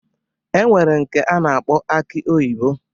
E nwere nke a na-akpọ aki oyibo.